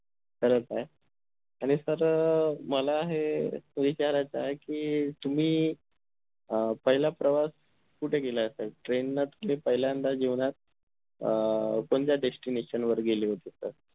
करत आहे आणि तर अह मला हे विचारायचा आहे कि तुम्ही अह पहिला प्रवास कुठे केला असेल train न तुम्ही पहिल्यादा जीवनात अं कोणत्या destination वर गेले होते त